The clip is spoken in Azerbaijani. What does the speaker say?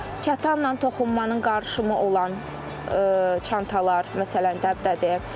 Kətanla toxunmanın qarışımı olan çantalar məsələn dəbdədir.